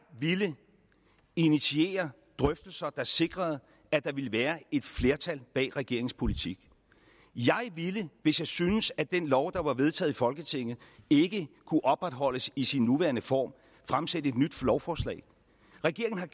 ville initiere drøftelser der sikrede at der ville være et flertal bag regeringens politik jeg ville hvis jeg syntes at den lov der var vedtaget i folketinget ikke kunne opretholdes i sin nuværende form fremsætte et nyt lovforslag regeringen har